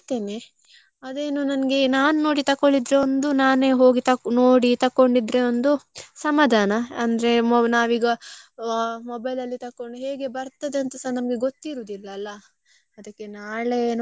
ಅಲ್ಲಿ ತಕೊಳ್ತೇನೆ ಅದೇನೋ ನಂಗೆ ನನ್ಗೆ ನಾನು ನೋಡಿ ತಕೊಳ್ಳಿದ್ದು. ಒಂದು ನಾನೇ ಹೋಗಿ ತಕ್~ ನೋಡಿ ತಗೊಂಡಿದ್ರೆ ಒಂದು ಸಮಾಧಾನ, ಅಂದ್ರೆ ನಾವೀಗ ಮೋ~ mobile ಅಲ್ಲಿ ತೊಕ್ಕೊಂಡ್ ಹೇಗೆ ಬರ್ತದೆ ಅಂತಸ ನಮ್ಗೆ ಗೊತ್ತಿರುದಿಲ್ಲ ಅಲ್ಲಾ ಅದಿಕ್ಕೆ ನಾಳೆ ಏನೋ ನೋಡ್ಬೇಕು.